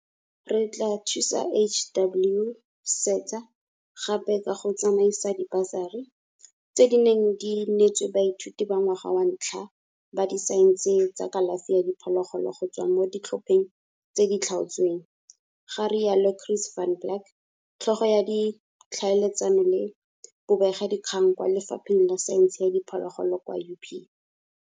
Re tla thusa HWSETA gape ka go tsamaisa dibasari, tse di neng di neetswe baithuti ba ngwaga wa ntlha ba disaense tsa kalafi ya diphologolo go tswa mo ditlhopheng tse di tlhaotsweng, ga rialo Chris van Blerk, Tlhogo ya Ditlhaeletsano le Bobegakgang kwa Lefapheng la Saense ya Diphologolo kwa UP.